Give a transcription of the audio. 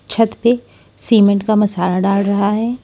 छत पे सीमेंट का मसाला डाल रहा है।